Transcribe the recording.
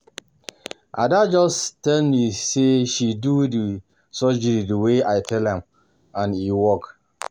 Ada just dey tell me say she do the surgery the way I tell am and e work.